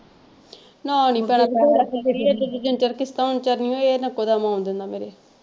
ਨਾਲ ਹੀ ਭੈਣੇ ਪੈਸੇ ਦਾ ਕੀ ਕਰੀਏ ਤਿੰਨ ਚਾਰ ਕਿਸ਼ਤਾਂ ਤਰਨੀਆਂ ਵੀ ਆ ਇੱਕੋ ਦੱਮ ਆਉਣ ਦਿੰਦਾ ਮੇਰੇ।